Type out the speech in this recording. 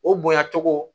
O bonya cogo